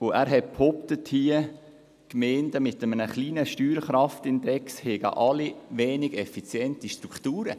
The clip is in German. Er hat behauptet, Gemeinden mit einem kleinen Steuerkraftindex hätten weniger effiziente Strukturen.